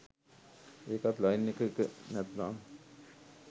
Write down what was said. ඒකත් ලයින් එක එක! නැත්නම්